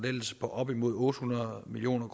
op imod otte hundrede million